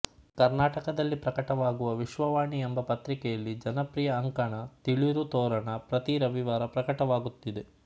ಕರ್ನಾಟಕದಲ್ಲಿ ಪ್ರಕಟವಾಗುವ ವಿಶ್ವವಾಣಿ ಎಂಬ ಪತ್ರಿಕೆಯಲ್ಲಿ ಜನಪ್ರಿಯ ಅಂಕಣ ತಿಳುರು ತೋರಣ ಪ್ರತಿ ರವಿವಾರ ಪ್ರಕಟವಾಗುತ್ತಿದೆ